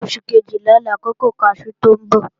Oṣù Kejìlá làkókò kaṣú tó ń bọ̀